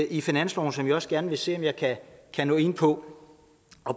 i finansloven som jeg også gerne vil se om jeg kan nå ind på